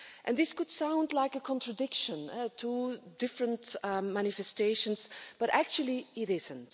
This could sound like a contradiction, two different manifestations, but actually it isn't.